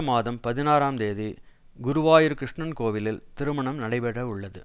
மாதம் பதினாறாம் தேதி குருவாயூர் கிருஷ்ணன் கோவிலில் திருமணம் நடைபெற உள்ளது